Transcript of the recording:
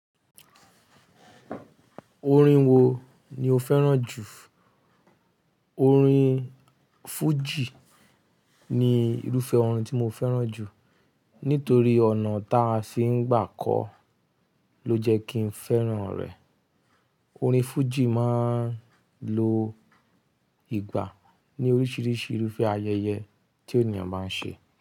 Orin wo ni o fẹ́ràn jù? Orin fújì ni irúfẹ́ orin tí mo fẹ́ràn jù nítorí ọ̀nà táa ṣe ń gbà kó ló jẹ́ kí n fẹ́ràn rẹ̀. Orin fújì máa ń lo ìgbà ní oríṣiríṣi irúfẹ́ ayẹyẹ tí ènìyàn bá ń ṣe.